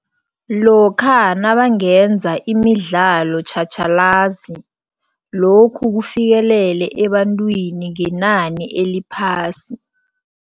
Lokha nabangenza imidlalo tjhatjhalazi, lokhu kufikelele ebantwini ngenani eliphasi.